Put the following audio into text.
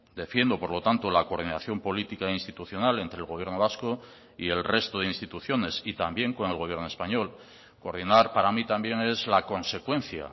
defiendo por lo tanto la coordinación política institucional entre el gobierno vasco y el resto de instituciones y también con el gobierno español coordinar para mí también es la consecuencia